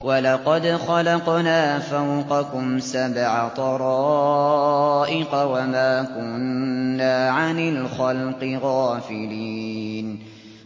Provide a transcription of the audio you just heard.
وَلَقَدْ خَلَقْنَا فَوْقَكُمْ سَبْعَ طَرَائِقَ وَمَا كُنَّا عَنِ الْخَلْقِ غَافِلِينَ